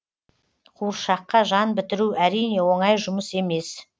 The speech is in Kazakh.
қуыршаққа жан бітіру әрине оңай жұмыс емес